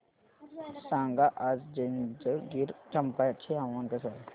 सांगा आज जंजगिरचंपा चे हवामान कसे आहे